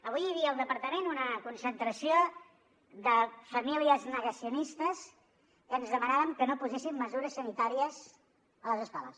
avui hi havia al departament una concentració de famílies negacionistes que ens demanaven que no poséssim mesures sanitàries a les escoles